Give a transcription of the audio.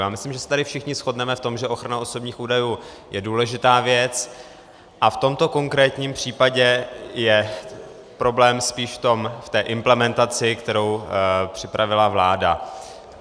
Já myslím, že se tady všichni shodneme v tom, že ochrana osobních údajů je důležitá věc, a v tomto konkrétním případě je problém spíš v té implementaci, kterou připravila vláda.